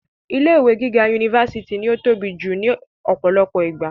ilé ìwé gíga unifásitì ni ó tóbi jù ní ọ̀pọ̀lọpọ̀ ìgbà